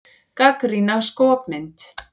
Gagnrýna skopmynd